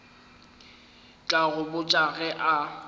tla go botša ge a